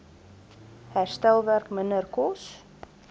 herstelwerk minder kos